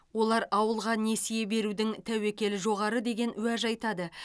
олар ауылға несие берудің тәуекелі жоғары деген уәж айтады